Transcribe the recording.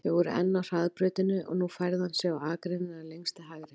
Þau voru enn á hraðbrautinni og nú færði hann sig á akreinina lengst til hægri.